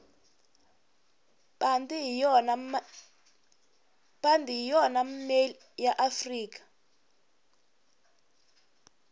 pandi hhiyona male yaafrikadzonga